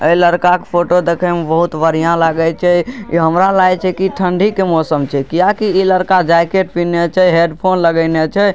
इ लड़का के फोटो देखे में बहुत बढियाँ लागय छै इ हमरा लागे छै की ठंडी के मौसम छै किया की इ लकड़ा जैकेट पेहनले छै हैडफ़ोन लगेने छै।